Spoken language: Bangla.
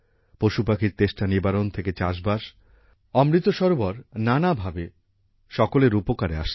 পশুপাখির তেষ্টা নিবারণ থেকে চাষবাস অমৃত সরোবর নানা ভাবে সকলের উপকারে আসছে